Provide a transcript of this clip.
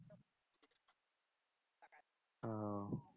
ও